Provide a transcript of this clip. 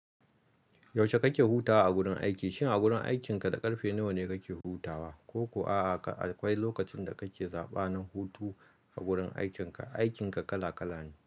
Yaushe kake hutawa a gurin aiki, shin a gurin aikinka da ƙarfe nawa ne kake hutawa? Ko ko a'a akwai lokacin da kake zaɓa na hutu a gurin aikin ka, aikin ka kala kala ne.